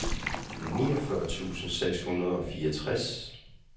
niogfyrre tusind seks hundrede og fireogtres